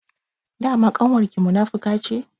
Dama ƙanwar ki munafuka ce?